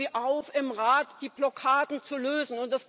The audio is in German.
Wir fordern Sie auf, im Rat die Blockaden zu lösen!